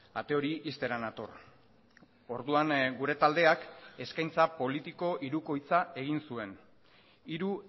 ate hori ixtera nator orduan gure taldeak eskaintza politiko hirukoitza egin zuen hiru